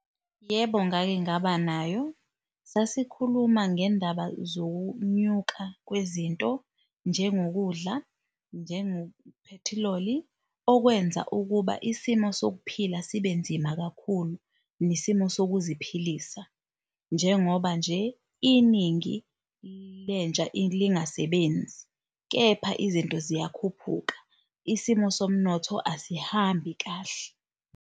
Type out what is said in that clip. Yebo, ngake ngaba nayo. Sasikhuluma ngendaba zok'nyuka kwezinto njengokudla, njengo phethiloli, okwenza ukuba isimo sokuphila sibe nzima kakhulu nesimo sokuziphilisa njengoba nje iningi lentsha lingasebenzi, kepha izinto ziyakhuphuka isimo somnotho, asihambi kahle.